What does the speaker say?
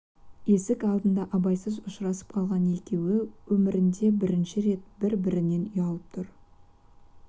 есік алдында абайсыз ұшырасып қалған екеуі өмірінде бірінші рет бір-бірінен ұялып тұр